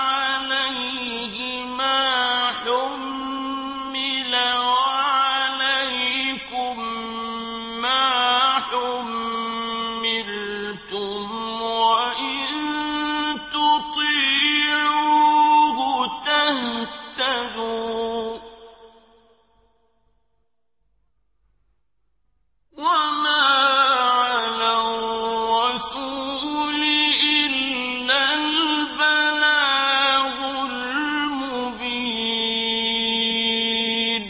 عَلَيْهِ مَا حُمِّلَ وَعَلَيْكُم مَّا حُمِّلْتُمْ ۖ وَإِن تُطِيعُوهُ تَهْتَدُوا ۚ وَمَا عَلَى الرَّسُولِ إِلَّا الْبَلَاغُ الْمُبِينُ